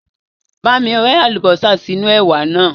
Bá mi rẹ́ àlùbásà sínú ẹ̀wà naa